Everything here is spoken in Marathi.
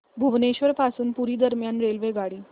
भुवनेश्वर पासून पुरी दरम्यान रेल्वेगाडी